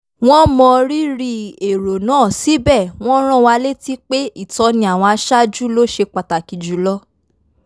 wọ́n mọ rírì èrò náà síbẹ̀ wọ́n rán wa létí pé ìtọ́ni àwọn aṣáájú ló ṣe pàtàkì jùlọ